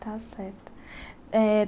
Está certo eh.